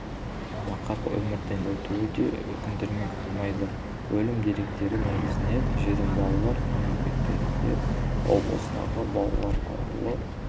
нақақ өмірден өтуі де өкіндірмей қоймайды өлім деректері негізінен жетім балалар мекемелерінде облыстағы балалар ауылы